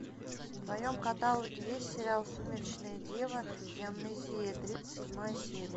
в твоем каталоге есть сериал сумеречная дева и амнезия тридцать седьмая серия